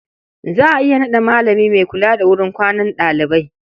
Za a iya naɗa malami mai kula da wurin kwanan ɗalibai.